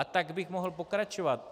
A tak bych mohl pokračovat.